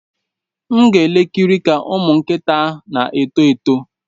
M ga-ekiri ka ụmụ nkịta na-eto eto.